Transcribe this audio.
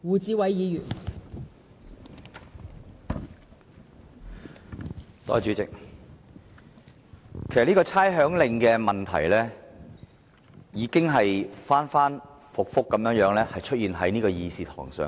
代理主席，有關《2018年差餉令》的問題已經反覆在立法會的議事堂討論。